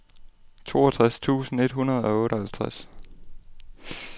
toogtres tusind et hundrede og otteoghalvtreds